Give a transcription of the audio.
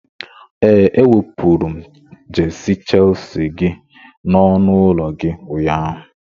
Ee, ewepụrụ m jesi shelsi gi n'ọnụ ụlọ gị ụnyaahụ.